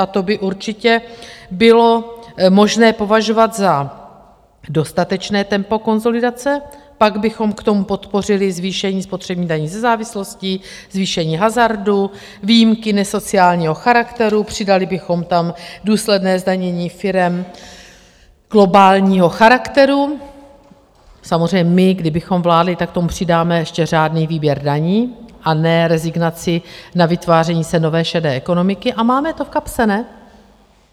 A to by určitě bylo možné považovat za dostatečné tempo konsolidace, pak bychom k tomu podpořili zvýšení spotřební daní ze závislostí, zvýšení hazardu, výjimky nesociálního charakteru, přidali bychom tam důsledné zdanění firem globálního charakteru - samozřejmě my, kdybychom vládli, tak k tomu přidáme ještě řádný výběr daní a ne rezignaci na vytváření se nové šedé ekonomiky, a máme to v kapse, ne?